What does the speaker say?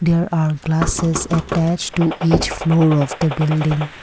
there are glasses attached to each floor of the building.